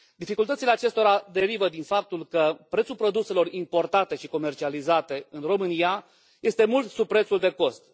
Dificultățile acestora derivă din faptul că prețul produselor importate și comercializate în România este mult sub prețul de cost.